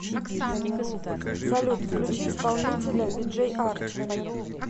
салют включи исполнителя виджей арчи